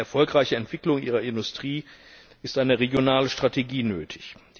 Für eine erfolgreiche Entwicklung ihrer Industrie ist eine regionale Strategie nötig.